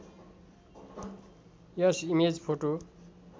yes image photo